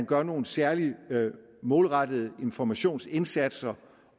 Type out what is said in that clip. gør nogle særlige målrettede informationsindsatser